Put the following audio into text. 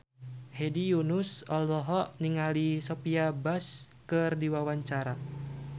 Hedi Yunus olohok ningali Sophia Bush keur diwawancara